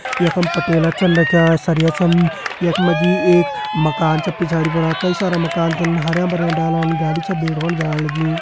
यखम पटेला छन रख्यां सरया छन यख मा जी एक माकन छ पिछाड़ी फणा कई सारा माकन छन हरयां भर्यां डाला गाड़ी छन जाण लगीं।